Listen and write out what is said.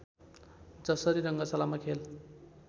जसरी रङ्गशालामा खेल